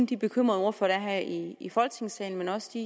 de bekymrede ordførere her i i folketingssalen men også